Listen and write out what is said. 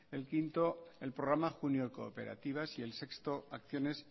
el quinto el programa junior cooperativas y el sexto acciones